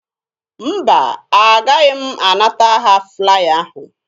Mba, agaghị m anata ha flaya ahụ.